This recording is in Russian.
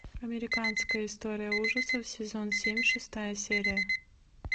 американская история ужасов сезон семь шестая серия